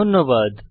ধন্যবাদ